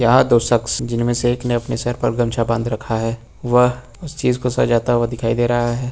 यहां दो शख्स जिनमें से एक ने अपने सर पर गमछा बांध रखा है वह इस चीज को सजाता हुआ दिखाई दे रहा है।